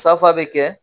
Safa bɛ kɛ